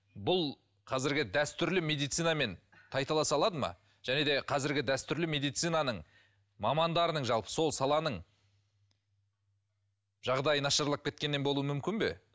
бұл қазіргі дәстүрлі медицинамен тайталаса алады ма және де қазіргі дәстүрлі медицинаның мамандарының жалпы сол саланың жағдайы нашарлап кеткеннен болуы мүмкін бе